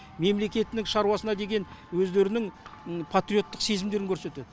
мемлекеттік шаруасына деген өздерінің патриоттық сезімдерін көрсетеді